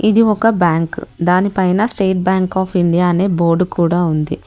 ఇది ఒక బ్యాంకు దానిపైన స్టేట్ బ్యాంక్ ఆఫ్ ఇండియా అనే బోర్డు కూడా ఉంది.